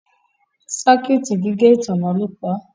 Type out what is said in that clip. Circuit gígé ìtanná lọ pá.